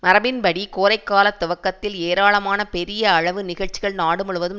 மரபின்படி கோடைகாலத் துவக்கத்தில் ஏராளமான பெரிய அளவு நிகழ்ச்சிகள் நாடு முழுவதும்